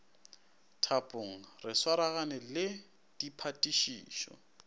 thapong re swaragane le diphatišišo